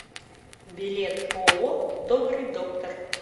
билет ооо добрый доктор